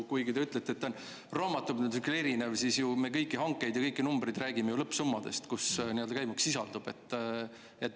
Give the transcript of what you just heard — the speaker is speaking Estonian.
Kuigi te ütlete, et ta on raamatupidamislikult erinev, aga me ju kõigi hangete ja kõigi numbrite puhul räägime lõppsummadest, milles sisaldub käibemaks.